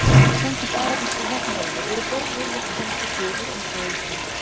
samkvæmt arabískri nafnvenju eru börn yfirleitt kennd við föður eins og á íslandi